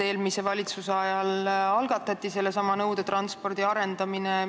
Eelmise valitsuse ajal alustati sellesama nõudetranspordi arendamist.